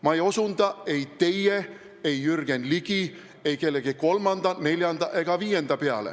Ma ei osutanud ei teie, ei Jürgen Ligi, ei kellegi kolmanda, neljanda ega viienda peale.